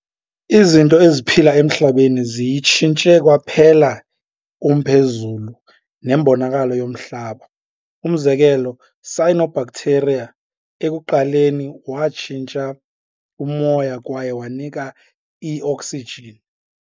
Izinto eziphila emHlabeni ziyitshintshe kwaphela umphezulu nembonakalo yomhlaba. umzekelo, cyanobacteria ekuqaleni watshintsha umoya kwaye wanika I-oksijini.